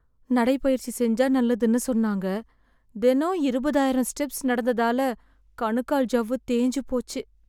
நடைப்பயிற்சி செஞ்சா நல்லதுன்னு சொன்னாங்க... தினம் இருபதாயிரம் ஸ்டெப்ஸ் நடந்ததால கணுக்கால் ஜவ்வு தேஞ்சு போச்சு.